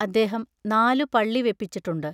അദ്ദേഹം നാലു പള്ളി വെപ്പിച്ചിട്ടുണ്ട്.